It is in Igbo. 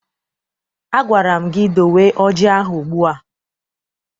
Agwara m gị dowe ọjị ahụ ugbu a!